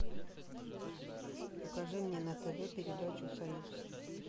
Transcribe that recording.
покажи мне на тв передачу союз